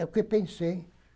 É o que eu pensei.